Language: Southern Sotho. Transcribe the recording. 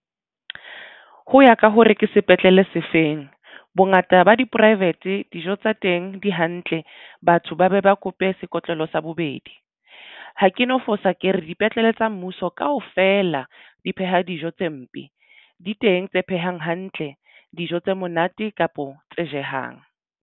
Ho ya ka hore ke sepetlele se feng bongata ba di-private dijo tsa teng di hantle batho ba be ba kope sekotlolo sa bobedi. Ha ke no fosa ke re dipetlele tsa mmuso kaofela di pheha dijo tse mpe di teng tse phehang hantle dijo tse monate kapo tse jehang.